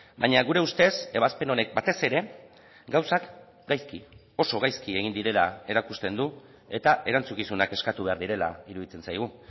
baina gure ustez ebazpen honek batez ere gauzak gaizki oso gaizki egin direla erakusten du eta erantzukizunak eskatu behar direla iruditzen zaigu